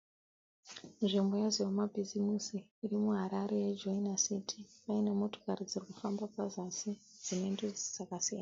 Nzvimbo yezvemabhizimisi iri muHarare ye Joina City. Paine motokari dzirikufamba pazasi dzine ndudzi dzakasiyana.